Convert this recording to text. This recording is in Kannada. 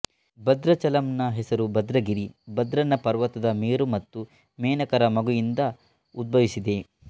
ಭದ್ರಾಚಲಂನ ಹೆಸರು ಭದ್ರಗಿರಿ ಭದ್ರನ ಪರ್ವತ ಮೇರು ಮತ್ತು ಮೇನಕರ ಮಗು ಯಿಂದ ಉದ್ಭವಿಸಿದೆ